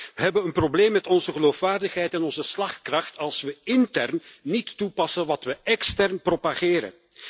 We hebben een probleem met onze geloofwaardigheid en onze slagkracht, als we intern niet toepassen wat we extern propageren.